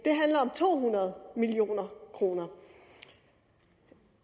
to hundrede million kroner